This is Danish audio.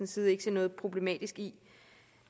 side ikke se noget problematisk i